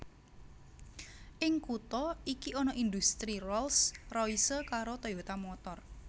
Ing kutha iki ana indhustri Rolls Royce karo Toyota Motor